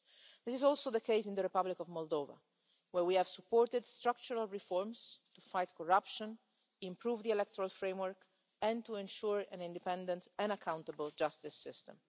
This is also the case in the Republic of Moldova, where we have supported structural reforms to fight corruption, improve the electoral framework, and to ensure an independent and accountable justice system.